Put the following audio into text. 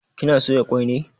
Kina soya kwai ne?